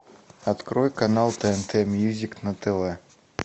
открой канал тнт мьюзик на тв